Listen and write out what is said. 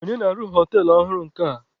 Onye na-arụ họtelụ ọhụrụ nke a?